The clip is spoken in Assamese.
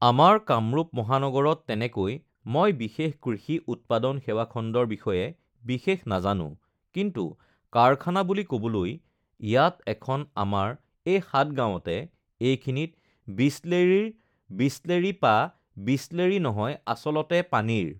আমাৰ কামৰূপ মহানগৰত তেনেকৈ মই বিশেষ কৃষি, উৎপাদন সেৱা খণ্ডৰ বিষয়ে বিশেষ নাজানোঁ কিন্তু কাৰখানা বুলি ক'বলৈ ইয়াত এখন আমাৰ এই সাতগাঁৱতে এইখিনিত বিছলেৰিৰ বিছলেৰি পা বিছলেৰি নহয় আচলতে পানীৰ